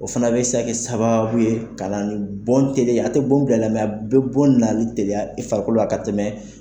O fana bɛ se ka kɛ sababu ye ka na ni bon tɛliya a tɛ bon bil'a la bɛ bon nani teliya i farikolo la ka tɛmɛ.